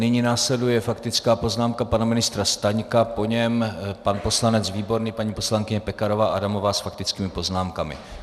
Nyní následuje faktická poznámka pana ministra Staňka, po něm pan poslanec Výborný, paní poslankyně Pekarová Adamová s faktickými poznámkami.